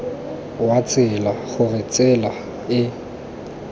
wa tsela gore tsela e